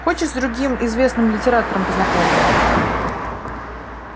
хочешь с другим известным литератором познакомлю